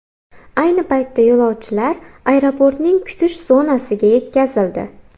Ayni paytda yo‘lovchilar aeroportning kutish zonasiga yetkazildi.